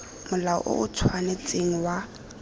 molao o o tshwanetseng wa